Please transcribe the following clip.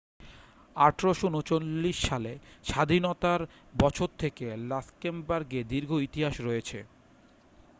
1839 সালে স্বাধীনতার বছর থেকে লাক্সেমবার্গের দীর্ঘ ইতিহাস রয়েছে